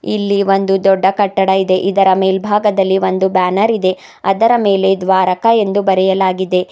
ಇಲ್ಲಿ ಒಂದು ದೊಡ್ಡ ಕಟ್ಟಡ ಇದೆ ಇದರ ಮೇಲ್ಭಾಗದಲ್ಲಿ ಒಂದು ಬ್ಯಾನರ್ ಇದೆ ಅದರ ಮೇಲೆ ದ್ವಾರಕಾ ಎಂದು ಬರೆಯಲಾಗಿದೆ.